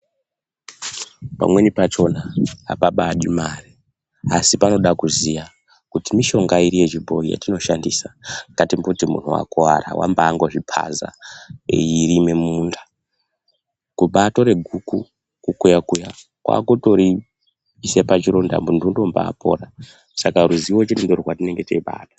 Pamweni pachona apaadi mare, asi panode kuziya kuti mishonga iri yechibhoi yetinoshandisa ngatimboti muntu wakuwara, wambangozviphaza eirima mumunda, kubatora guku, kukuya-kuya kwakutoriise pachironda, muntu unombapora, saka ruzivo chete ndirwo rwatinenge teibada.